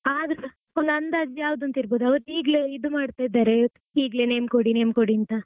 ಆದ್ರೂಸ ಒಂದ್ ಅಂದಾಜು ಯಾವ್ದಂತ ಇರ್ಬೋದು ಅವ್ರು ಈಗ್ಲೇ ಇದು ಮಾಡ್ತಾ ಇದ್ದಾರೆ ಈಗ್ಲೇ name ಕೊಡಿ name ಕೊಡಿ ಅಂತಾ.